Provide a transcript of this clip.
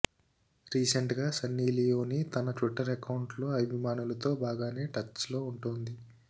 recent గా Sunny Leone తన Twitter account లో అభిమానులతో బాగానే టచ్ లో ఉంటోంది